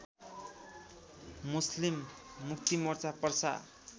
Muslim Muktimorcha Parsa